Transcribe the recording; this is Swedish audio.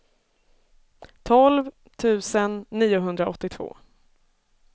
tolv tusen niohundraåttiotvå